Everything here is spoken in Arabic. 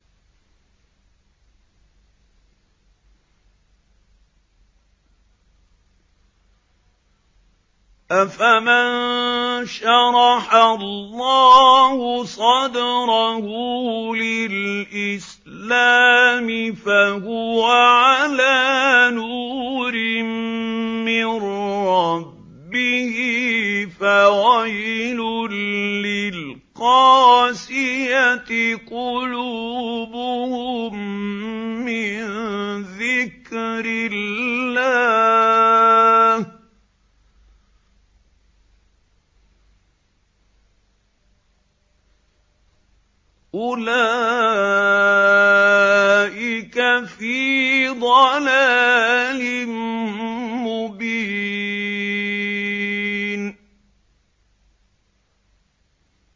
أَفَمَن شَرَحَ اللَّهُ صَدْرَهُ لِلْإِسْلَامِ فَهُوَ عَلَىٰ نُورٍ مِّن رَّبِّهِ ۚ فَوَيْلٌ لِّلْقَاسِيَةِ قُلُوبُهُم مِّن ذِكْرِ اللَّهِ ۚ أُولَٰئِكَ فِي ضَلَالٍ مُّبِينٍ